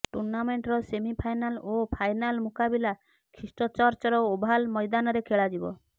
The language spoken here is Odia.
ଟୁର୍ଣ୍ଣାମେଣ୍ଟର ସେମି ଫାଇନାଲ ଓ ଫାଇନାଲ ମୁକାବିଲା ଖ୍ରୀଷ୍ଟଚର୍ଚ୍ଚର ଓଭାଲ ମଇଦାନରେ ଖେଳାଯିବ